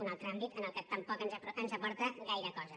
un altre àmbit en què tampoc ens aporta gaire cosa